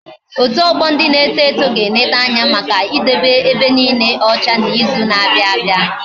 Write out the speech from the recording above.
Otu ogbo ndị na-eto eto ga eleta Anya Maka idobe ebe niike ocha na izu na abia